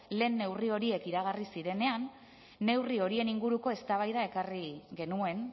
lehen neurri horiek iragarri zirenean neurri horien inguruko eztabaida ekarri genuen